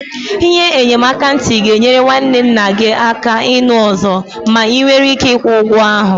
Ihe enyemaka ntị ga-enyere nwanne nna gị aka ịnụ ọzọ ma ị nwere ike ịkwụ ụgwọ ahụ.